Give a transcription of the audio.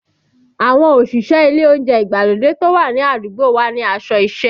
Àwọn òṣìṣẹ́ ilé oúnjẹ ìgbàlódé tó wà ní àdúgbò wa ní aṣọ isẹ